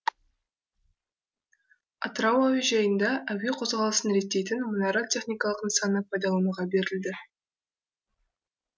атырау әуежайында әуе қозғалысын реттейтін мұнара техникалық нысаны пайдалануға берілді